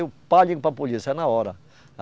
Eu pá, ligo para a polícia na hora.